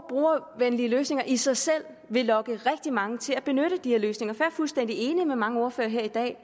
brugervenlige løsninger i sig selv vil lokke rigtig mange til at benytte de her løsninger for jeg er fuldstændig enig med mange ordførere her i dag